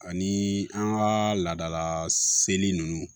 Ani an ka laadala seli nunnu